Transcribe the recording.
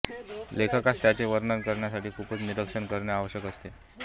लेखकास त्याचे वर्णन करण्यासाठी खूपच निरीक्षण करणे आवश्यक असते